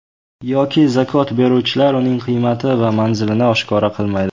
Yoki zakot beruvchilar uning qiymati va manzilini oshkora qilmaydi.